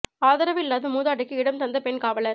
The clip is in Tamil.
ஆதரவு இல்லாத மூதாட்டிக்கு இடம் தந்த பெண் காவலர்